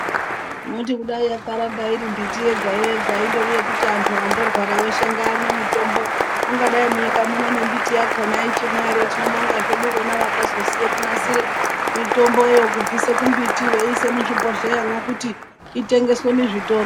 Mwoti kudai yakaramba iri mbiti yega yega indori yekuti antu andorwara weshe ngaamwe mitombo ungadai munyika muno nembiti yakona ichimwo ere, tinobonga zvedu vona vakazoziye kunasire mitomboyo kubvise kumbiti veise kuzvibhohleyamwo kuti itengeswe muzvitoro.